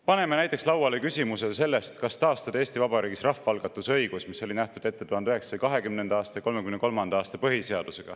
Paneme näiteks lauale küsimuse sellest, kas taastada Eesti Vabariigis rahvaalgatuse õigus, mis oli ette nähtud 1920. aasta ja 1933. aasta põhiseaduses.